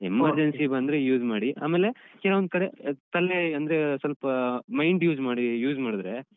Emergency ಬಂದ್ರೆ use ಮಾಡಿ ಅಮೇಲೆ ಕೆಲವೊಂದ್ಕಡೆ ತಲೆ ಅಂದ್ರೆ ಅಹ್ ಸ್ವಲ್ಪ mind use ಮಾಡಿ use ಮಾಡಿದ್ರೆ.